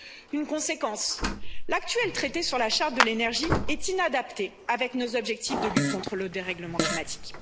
Une conséquence l'actuel traité sur la charte de l'énergie est inadapté avec nos objectifs de lutte contre le dérèglement climatique.